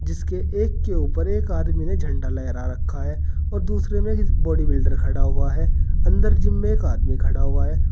इसके एक के ऊपर एक आदमी ने झंडा लहरा रखा है और दूसरे में बॉडी बिल्डर खड़ा हुआ है अंदर जिम में एक आदमी खड़ा हुआ है।